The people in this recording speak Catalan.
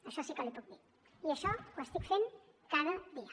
això sí que l’hi puc dir i això ho estic fent cada dia